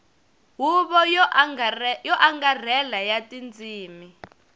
huvo yo angarhela ya tindzimi